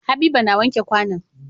Habiba na wanke kwAnan